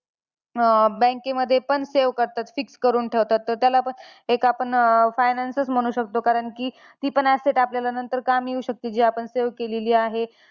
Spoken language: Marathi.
अं bank मध्ये पण save करतात fix करून ठेवतात. तर त्याला पण एक आपण finance म्हणू शकतो. कारण की, ती पण asset आपल्याला नंतर कामी येऊ शकते जी आपण save केलेली आहे.